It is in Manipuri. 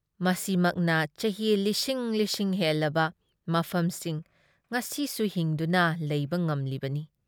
ꯃꯁꯤꯃꯛꯅ ꯆꯍꯤ ꯂꯤꯁꯤꯡ ꯂꯤꯁꯤꯡ ꯍꯦꯜꯂꯕ ꯃꯐꯝꯁꯤꯡ ꯉꯁꯤꯁꯨ ꯍꯤꯡꯗꯨꯅ ꯂꯩꯕ ꯉꯝꯂꯤꯕꯅꯤ ꯫